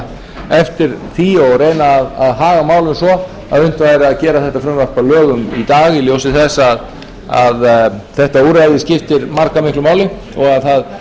eftir því og reyna að haga málum svo að unnt væri að gera þetta frumvarp að lögum í dag í ljósi þess að þetta úrræði skiptir marga miklu máli og að það